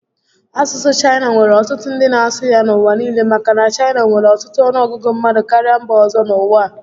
Asusu Chaina nwere otutu ndi na asu ya n'uwa niile maka na Chaina nwere otutu onuogugu mmadu karia mba ozo n'uwa a